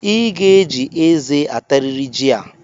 I ga-eji eze atarịrị jị a!